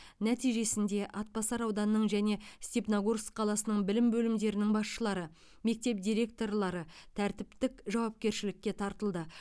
нәтижесінде атбасар ауданының және степногорск қаласының білім бөлімдерінің басшылары мектеп директорлары тәртіптік жауапкершілікке тартылды